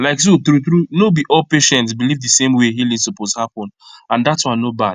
like so true true no be all patients believe the same way healing suppose happen and dat one no bad